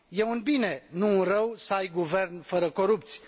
E un bine, nu un rău să ai guvern fără corupți